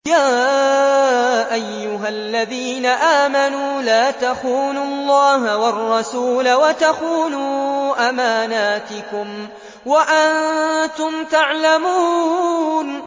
يَا أَيُّهَا الَّذِينَ آمَنُوا لَا تَخُونُوا اللَّهَ وَالرَّسُولَ وَتَخُونُوا أَمَانَاتِكُمْ وَأَنتُمْ تَعْلَمُونَ